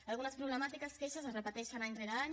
en algunes problemàtiques les queixes es repeteixen any rere any